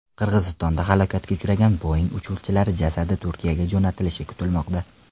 Qirg‘izistonda halokatga uchragan Boeing uchuvchilari jasadi Turkiyaga jo‘natilishi kutilmoqda.